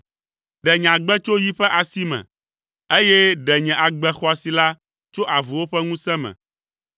Ɖe nye agbe tso yi ƒe asi me, eye ɖe nye agbe xɔasi la tso avuwo ƒe ŋusẽ me.